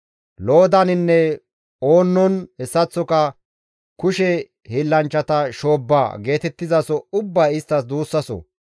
Loodaninne, Oonnon hessaththoka «Kushe hiillanchchata shoobba» geetettizaso ubbay isttas duussaso.